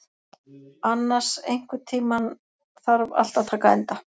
Annas, einhvern tímann þarf allt að taka enda.